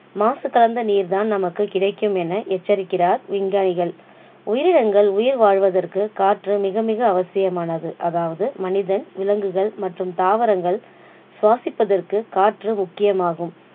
மாசு கலந்த நீர் தான் நமக்கு கிடைக்கும் என எச்சிரிக்கிறார் விஞ்ஞானிகள். உயிரினங்கள் உயிர் வாழ்வதற்கு காற்று மிக மிக அவசியமானது அதாவது மனிதன் விலங்குகள் மற்றும் தாவரங்கள் சுவாசிப்பதற்கு காற்று முக்கியமாகும்.